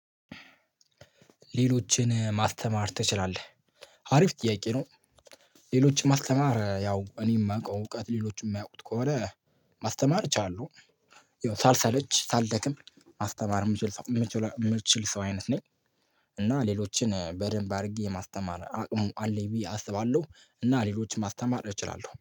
ሌሎችን ማስተማር ትችላለህ አሪፍ ጥያቄ ነው? ሌሎችን ማስተማር ያው እኔ የማውቀው እውቀት ሌሎችን የማያውቁት ከሆነ ማስተማር እችላለሁ። ያው ሳልሰለች ሳልደክም ማስተማር የምችል ሰው የምችል ሰው አይነት ነኝ። እና ሌሎችን በደንብ አድርጌ የማስተማር አቅሙ አለኝ ብዬ አስባለሁ እና ሌሎችን ማስተማር እችላለሁ